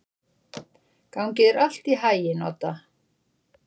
Gangi þér allt í haginn, Odda.